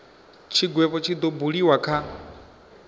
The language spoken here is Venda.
tshigwevho tshi do buliwa kha